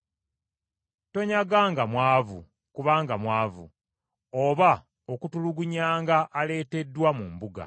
Tonyaganga mwavu, kubanga mwavu, oba okutulugunyanga aleeteddwa mu mbuga.